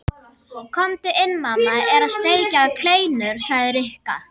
Komdu inn, mamma er að steikja kleinur sagði Rikka.